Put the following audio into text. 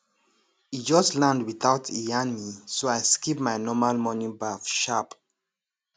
e just land without e yarn me so i skip my normal morning baff sharp